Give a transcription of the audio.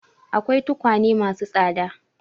Akwai tukwane ma su tsada.